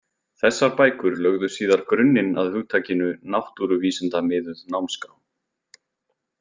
Þessar bækur lögðu síðar grunninn að hugtakinu náttúruvísindamiðuð námskrá.